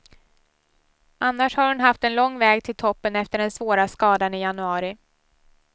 Annars har hon haft en lång väg till toppen efter den svåra skadan i januari.